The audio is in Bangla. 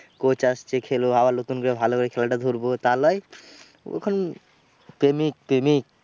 Coach আসছে খেলব আবার নতুন করে খেলাটা এটা ধরব তা লয়। ও এখন প্রেমিক প্রেমিক।